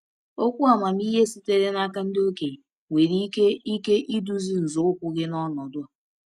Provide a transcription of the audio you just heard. Okwu amamihe sitere n’aka ndị okenye nwere ike ike iduzi nzọụkwụ gị n’ọnọdụ a.